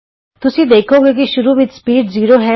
ਤੁਸੀਂ ਦੇਖੋਂਗੇ ਕਿ ਸ਼ੁਰੂ ਵਿਚ ਸਪੀਡ 0 ਹੈ